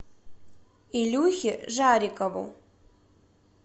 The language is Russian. илюхе жарикову